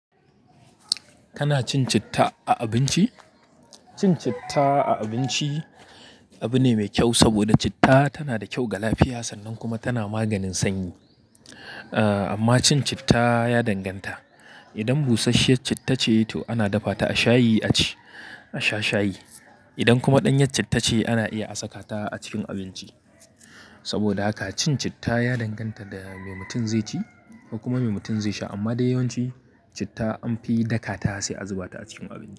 Kana cin citta a abinci? Cin citta a abinci abu ne mai kyau saboda citta tana da kyau ga lafiya sannan kuma tana maganin sanyi. Ahhh, amma cin citta ya danganta. Idan busasshiyar citta ce to ana dafa ta a shayi aci, a sha shayi. Idan kuma ɗanyar citta ce ana iya a saka ta a cikin abinci. Saboda haka cin citta ya danganta da me mutum zai ci, kuma me mutum zai sha. Amma dai yawanci citta an fi dakata sai a zuba ta a cikin abinci.